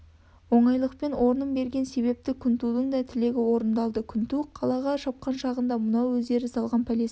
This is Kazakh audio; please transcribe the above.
оңайлықпен орнын берген себепті күнтудың да тілегі орындалды күнту қалаға шапқан шағында мынау өздері салған пәлесін